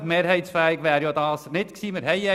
Mehrheitsfähig wäre das Anliegen nicht gewesen.